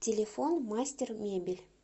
телефон мастер мебель